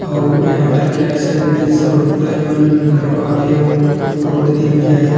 अउ इंहा होटल के राइट साइड में सबु रुख राही मन गले खावे अउ रोड तीर मा हरे ह --